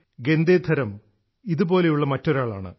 ഗേന്ദേധരം ഇതുപോലുള്ള മറ്റൊരാളാണ്